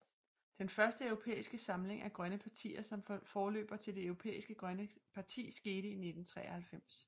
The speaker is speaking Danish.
Den første europæiske samling af grønne partier som forløber til Det Europæiske Grønne Parti skete i 1993